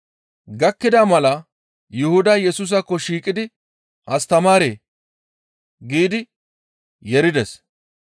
Gakkida mala Yuhuday Yesusaakko shiiqidi, «Astamaaree!» giidi yeerides.